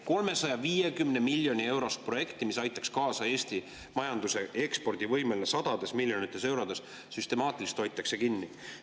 350 miljoni eurost projekti, mis aitaks kaasa Eesti majanduse ekspordivõimele sadades miljonites eurodes, süstemaatiliselt hoitakse kinni.